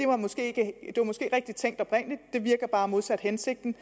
var måske rigtig tænkt oprindeligt det virker bare modsat hensigten